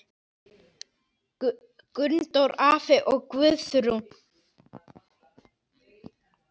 Gunndór afi og Guðrún.